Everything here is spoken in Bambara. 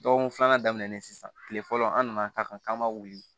Dɔgɔkun filanan daminɛlen sisan kile fɔlɔ an nana ka kan ma wuli